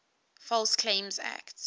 false claims act